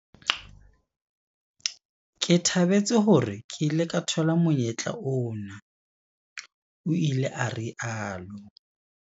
Ke thabetse hore ke ile ka thola monyetla ona, o ile a rialo.